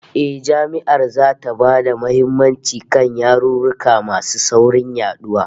Eh, Jami'ar zata ba da muhimmanci kan yarurruka masu saurin yaduwa